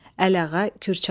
Əliağa Kürçaylı.